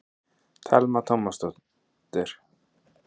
Telma Tómasson: En er þínum pólitíska ferli lokið?